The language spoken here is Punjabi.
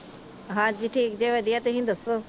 ਹਾਂਜੀ ਠੀਕ ਜੇ ਵਧਿਆ ਤੁਸੀਂ ਦਸੋ